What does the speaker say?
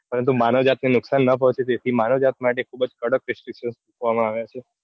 પરંતુ માનવજાતિને નુકસાન ન પહોંચે તે માટે માનવજાત ખુબજ કડક restriction મુકવામાં આવે છે.